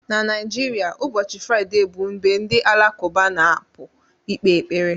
Na Naijiria, ụbọchị Fraịde bụ mgbe ndị Alakụba na-apụ ikpe ekpere